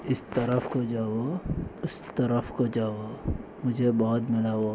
इस तरफ को जाओ उस तरफ को जाओ। --